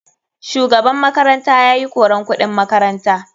Shugaban makaranta yayi koran kuɗin makaranta.